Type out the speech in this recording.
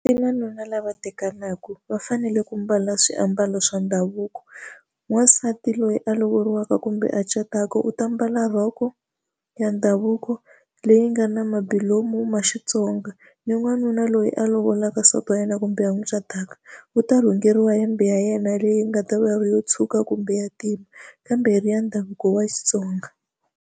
I n'wanuna lava tekaka va fanele ku mbala swiambalo swa ndhavuko n'wasati loyi a lovoriwanga kumbe a cataka u ta mbala rhoko ya ndhavuko leyi nga na mbilu lomu ma Xitsonga ni n'wanuna loyi a lovolanga nsati wa yena kumbe ya n'wi cataka wu ta rhungeriwa hembe ya yena leyi nga ta va ri yo tshuka kumbe ya ntima kambe ri ya ndhavuko wa Xitsonga.